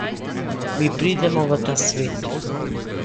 Mi pridemo v ta svet.